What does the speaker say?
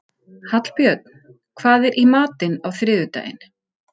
Hallbjörn, hvað er í matinn á þriðjudaginn?